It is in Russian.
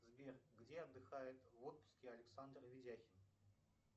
сбер где отдыхает в отпуске александр ведяхин